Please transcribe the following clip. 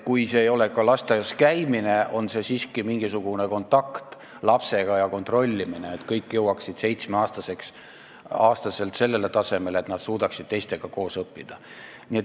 Kui see ei eelda just lasteaias käimist, siis peaks siiski olema mingisugune kontakt iga lapsega ja kontrollimine, et kõik jõuaksid 7-aastaselt niisugusele tasemele, et nad suudaksid teistega koos õppida.